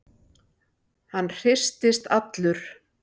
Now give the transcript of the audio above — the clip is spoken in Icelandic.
Hann hristist allur.